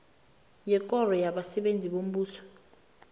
yekoro yabasebenzi bombuso